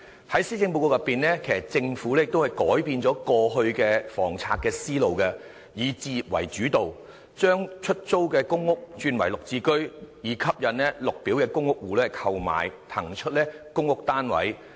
在施政報告裏，政府改變了過去的房策思路，以置業為主導，將出租公屋轉為"綠置居"，以吸引綠表公屋戶購買，騰出公屋單位。